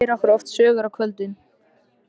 Hann segir okkur oft sögur á kvöldin.